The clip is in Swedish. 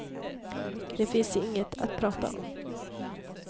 Det finns inget att prata om.